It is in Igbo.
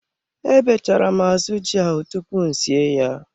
Ebechara m azụ ji ahụ tupu m sie ya.